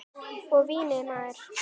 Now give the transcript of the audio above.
Og vínið maður!